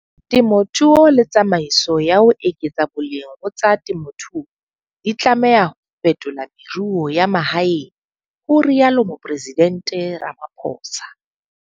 Temothuo le tsamaiso ya ho eketsa boleng ho tsa temothuo di tlameha ho fetola meruo ya mahaeng, ho rialo Mopresidente Ramaphosa.